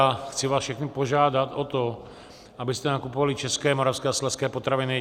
A chci vás všechny požádat o to, abyste nakupovali české, moravské a slezské potraviny.